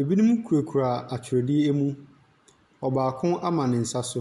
ebinom kurakura atwedeɛ mu. Ɔbaako ama ne nsa so.